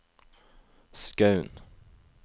Skaun